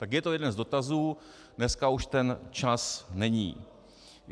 Tak je to jeden z dotazů, dneska už ten čas není.